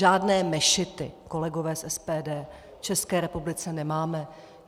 Žádné mešity, kolegové z SPD, v České republice nemáme.